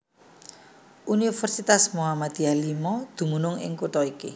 Universitas Muhammad V dumunung ing kutha iki